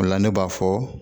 O la ne b'a fɔ